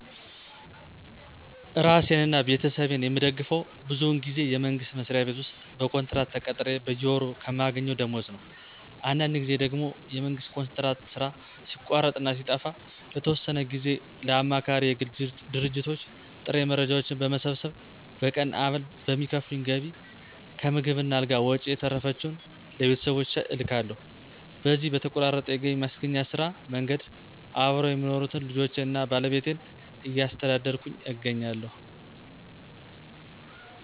እራሴን አና ቤተሰቤን የምደግፈው ብዙውን ጊዜ የመንግስት መስሪያ ቤት ውስጥ በኮንትራት ተቀጥሬ በየወሩ ከማገኘው ደሞወዝ ነው። አንዳንድ ጊዜ ደግሞ የመንግስት ኮንትራት ሥራ ሲቋረጥ እና ሲጠፋ ለተወሰነ ትንሽ ጊዜ ለአማካሪ የግል ድርጅቶች ጥሬ መረጃዎችን በመሰብሰብ በቀን አበል በሚከፍሉኝ ገቢ ከምግብ እና አልጋ ወጭ የተረፈችውን ለቤተሰቦቼ እልካለሁ። በዚሁ በተቆራረጠ የገቢ ማስገኛ ስራ መንገድ አብረው የሚኖሩትን ልጆቼን አና ባለቤቴን እያስተዳደርኩ እገኛለሁ።